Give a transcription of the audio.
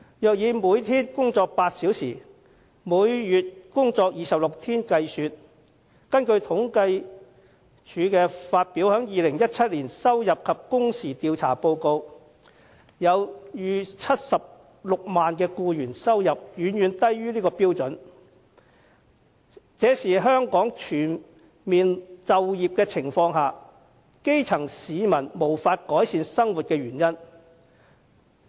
如果以每天工作8小時、每月工作26天計算，根據政府統計處發表的2017年收入及工時按年統計調查報告，超過76萬名僱員的收入遠低於這個水平，這也是即使香港全面就業，但基層市民也無法改善生活的原因。